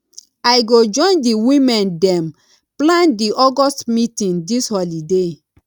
i go join di women dem plan di august meeting dis holiday